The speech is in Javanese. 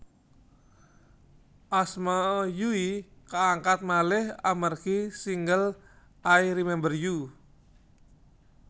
Asma Yui kaangkat malih amargi single I Remember You